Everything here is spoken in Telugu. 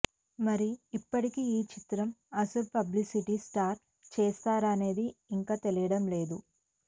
మరి ఎప్పటికి ఈ చిత్రం అసలు పబ్లిసిటీ స్టార్ట్ చేస్తారనేది ఇంకా తెలియడం లేదు